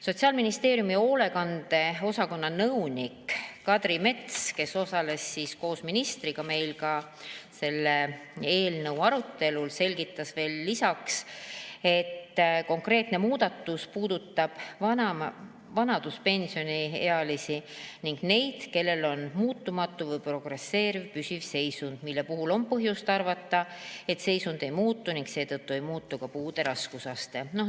Sotsiaalministeeriumi hoolekande osakonna nõunik Kadri Mets, kes osales koos ministriga selle eelnõu arutelul, selgitas veel lisaks, et konkreetne muudatus puudutab vanaduspensioniealisi ning neid, kellel on muutumatu või progresseeruv püsiv seisund, mille puhul on põhjust arvata, et seisund ei muutu ning seetõttu ei muutu ka puude raskusaste.